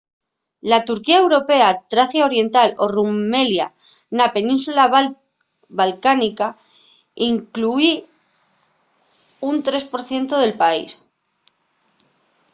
la turquía europea tracia oriental o rumelia na península balcánica inclúi un 3% del país